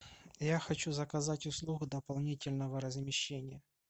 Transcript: я хочу заказать услугу дополнительного размещения